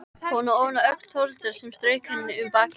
Hún ofaná öxl Þórhildar sem strauk henni um bakið.